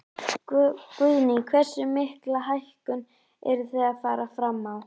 Guðný: Hversu mikla hækkun eruð þið að fara fram á?